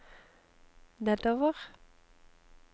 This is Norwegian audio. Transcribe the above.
nedover